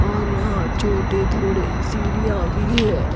और यहां छोटे थोडे सीढ़ियां भी है।